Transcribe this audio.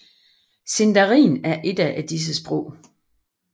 Sindarin er et af disse sprog